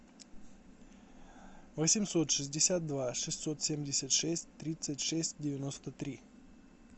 восемьсот шестьдесят два шестьсот семьдесят шесть тридцать шесть девяносто три